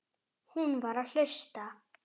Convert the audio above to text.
Hún var að hlusta.